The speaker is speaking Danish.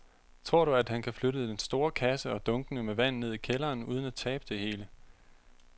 Tror du, at han kan flytte den store kasse og dunkene med vand ned i kælderen uden at tabe det hele?